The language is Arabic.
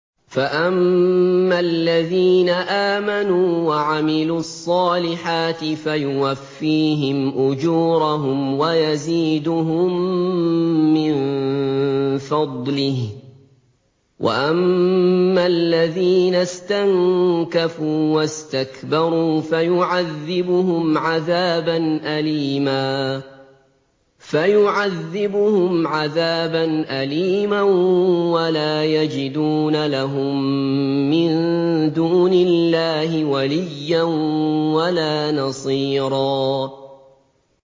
فَأَمَّا الَّذِينَ آمَنُوا وَعَمِلُوا الصَّالِحَاتِ فَيُوَفِّيهِمْ أُجُورَهُمْ وَيَزِيدُهُم مِّن فَضْلِهِ ۖ وَأَمَّا الَّذِينَ اسْتَنكَفُوا وَاسْتَكْبَرُوا فَيُعَذِّبُهُمْ عَذَابًا أَلِيمًا وَلَا يَجِدُونَ لَهُم مِّن دُونِ اللَّهِ وَلِيًّا وَلَا نَصِيرًا